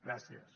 gràcies